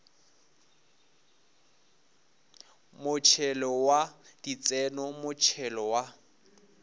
motšhelo wa ditseno motšhelo wa